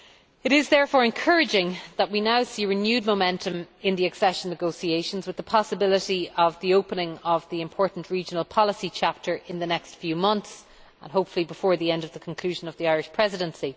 It is therefore encouraging that we now see renewed momentum in the accession negotiations, with the possibility of opening the important Regional Policy chapter in the next few months, and hopefully before the conclusion of the Irish Presidency.